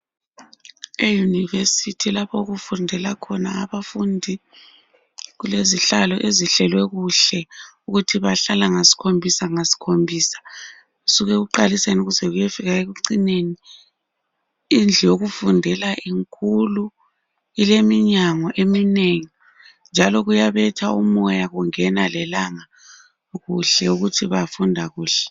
E-university lapha okufundela khona abafundi, Kulezihlalo, ezihlelwe kuhle. Ukuthi bahlala ngasikhombisa, ngasikhombisa. Kusuka ekuqaliseni, kuze kuyefika ekucineni. Indlu yokufundela inkulu. Ileminyango eminengi, njalo kuyabetha umoya, Kungena lelanga, kuhle. Ukuthi bafunda kuhle.